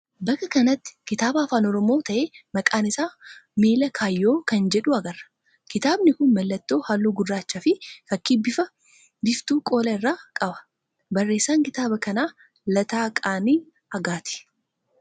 Bakka kanatti kitaaba afaan Oromoo ta'ee maqaan isaa Miila Kaayyoo kan jedhu agarra. Kitaabni kun mallattoo halluu gurraachaa fi fakkii biiftuu qola isaa irraa qaba. Barreessaan kitaaba kanaa Lataa Qana'ii Aagaati.